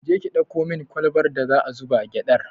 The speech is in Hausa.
Je ki ɗauko min kwalbar da aka zuba gyaɗar!